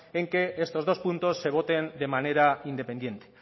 en que estos dos puntos se voten de manera independiente